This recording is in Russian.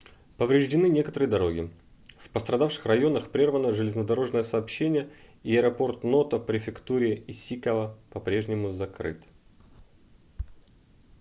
повреждены некоторые дороги в пострадавших районах прервано железнодорожное сообщение и аэропорт ното в префектуре исикава по-прежнему закрыт